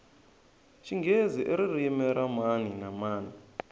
xinghezi iririmi ra mani na mani